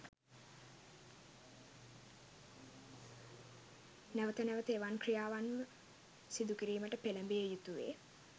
නැවත නැවත එවන් ක්‍රියාවන්ම සිදුකිරීමට පෙළඹිය යුතුවේ.